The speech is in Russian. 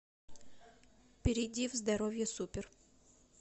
перейди в здоровье супер